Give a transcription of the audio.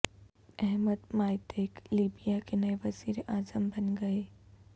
Ahmad Maiteeq Libya کے نئے وزیر اعظم بن گئے